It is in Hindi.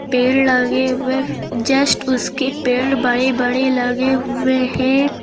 पेड़ लगे हुएफ जस्ट उसके पेड़ बड़े बड़े लगे हुए हैं।